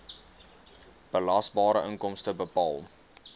belasbare inkomste bepaal